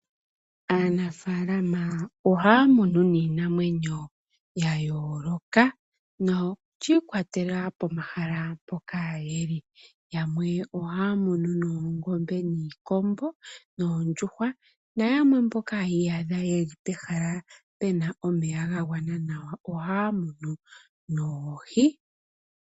Aanafaalama ohaya munu niinamwenyo yayooloka na oshiikwatela pomahala mpoka yeli. Yamwe ohaya munu noongombe, niikombo, noondjuhwa na yamwe mboka haya iyadha ye li pehala pena omeya gagwana nawa ohaya munu noohi.